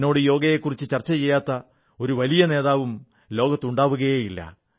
എന്നോട് യോഗയെക്കുറിച്ച് ചർച്ച ചെയ്യാത്ത ഒരു വലിയ നേതാവും ലോകത്ത് ഉണ്ടാവുകയേ ഇല്ല